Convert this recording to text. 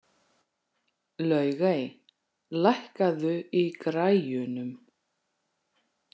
Laugey, lækkaðu í græjunum.